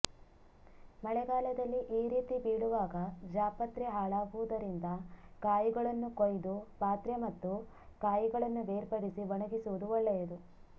ಮಳೆಗಾಲದಲ್ಲಿ ಈ ರೀತಿ ಬೀಳುವಾಗ ಜಾಪತ್ರೆ ಹಾಳಾಗುವುದರಿಂದ ಕಾಯಿಗಳನ್ನು ಕೊಯ್ದು ಪಾತ್ರೆ ಮತ್ತು ಕಾಯಿಗಳನ್ನು ಬೇರ್ಪಡಿಸಿ ಒಣಗಿಸುವುದು ಒಳ್ಳೆಯದು